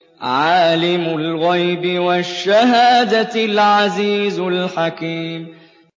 عَالِمُ الْغَيْبِ وَالشَّهَادَةِ الْعَزِيزُ الْحَكِيمُ